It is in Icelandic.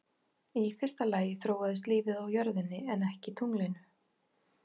Í fyrsta lagi þróaðist lífið á jörðinni en ekki tunglinu.